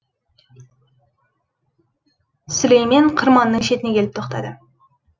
сүлеймен қырманның шетіне келіп тоқтады